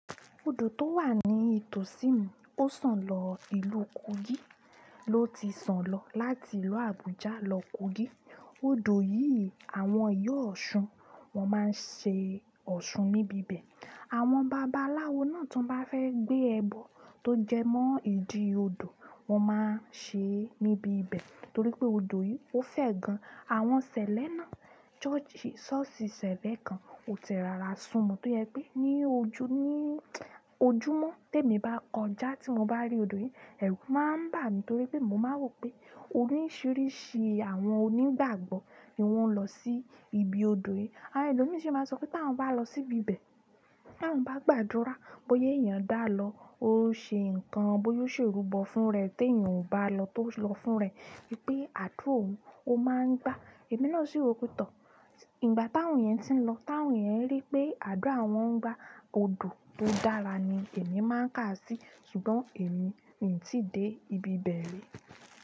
Odò tó wà ní ìtòsí mi ó sàn lọ ìlú Kogi. Loti san lo láti ìlú Abuja lo kogi. Odò yìí àwọn ìyá Ọ̀ṣun wọn máa ń ṣe Ọ̀ṣun níbi bẹ̀. Àwọn babaláwo náà tó bá fẹ́ gbé ẹbọ tó jẹmọ́ ìdí odò, wọn máa ń ṣe é níbi bẹ̀ torí pé odò yìí ó fẹ́ gan. Àwọn ṣẹlẹ̀ náà, ṣọ́ọ̀ṣì ṣẹlẹ̀ kan ò tẹ rara sùnmọ́ tó yẹ pé ní ojúmọ́ témi bá kọjá tí mo bá rí odò yìí, ẹ̀rù máa ń bà mí torí pé mo máa ń wò pé oríṣìíríṣìí àwọn onígbàgbọ́ ni wọ́n ń lọ sí ibi odò yìí. Àwọn ẹlòmíràn sì máa sọ pé táwọn bá lọ síbi bẹ̀, táwọn bá gbàdúrà bóya èèyàn dá lọ, ó ṣe nǹkan bóyá ó ṣe irúbọ fún rẹ̀ tí èèyàn ò bá lọ tó lọ fún rẹ̀ pé àdúrà òun ó máa ń gbá. Ẹ̀mí náà sì rò pé tọ́, ìgbà táwọn yẹn ti ń lọ, táwọn yẹn rí pé àdúrà wọn ń gbá, odò tó dára ni èmi máa ń kà sí ṣùgbọ́n èmi ò tí dé ibi bẹ̀ rí.